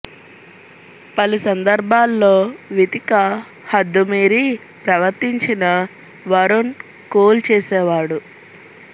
పలు సందర్భాల్లో వితికా హద్దు మీరి ప్రవర్తించినా వరుణ్ కూల్ చేసేవాడు